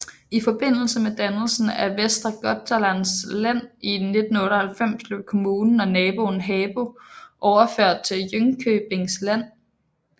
I forbindelse med dannelsen af Västra Götalands län i 1998 blev kommunen og naboen Habo overført til Jönköpings län